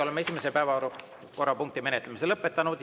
Oleme esimese päevakorrapunkti menetlemise lõpetanud.